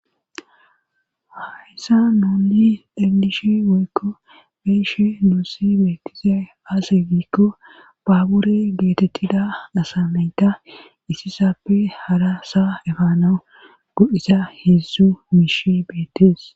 hayssa nuunni iglishi woykko beeshe nussi beettize aase giikko baabure geetettida dasamayta isi sappe hara sa efano go7isa heedzzu miish beettees